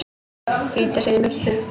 Flýta sér í burtu.